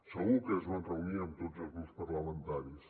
segur que es van reunir amb tots els grups parlamentaris